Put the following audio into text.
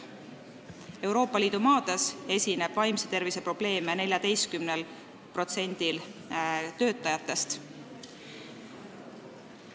Euroopa Liidu maades esineb vaimse tervise probleeme 14%-l töötajatest.